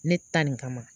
Ne ta nin kama